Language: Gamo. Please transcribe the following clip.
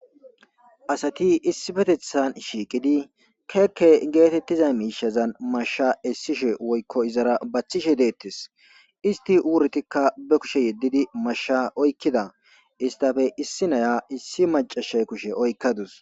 asati issi betethan shiiqidi keekke geetettiza miishazan mashsha essishe woykko izara bachishe deettes isti uurtikka be kushe yeddidi mashsha oykkida istafe issi naya issi macashay kushe oykkadus